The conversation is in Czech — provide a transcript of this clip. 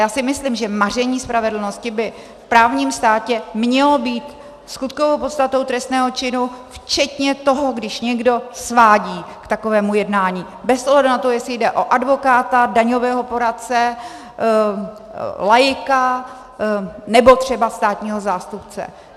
Já si myslím, že maření spravedlnosti by v právním státě mělo být skutkovou podstatou trestného činu včetně toho, když někdo svádí k takovému jednání, bez ohledu na to, jestli jde o advokáta, daňového poradce, laika nebo třeba státního zástupce.